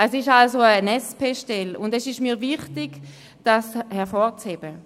Es ist also eine SP-Stelle, und es ist mir wichtig, dies hervorzuheben.